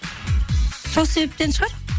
сол себептен шығар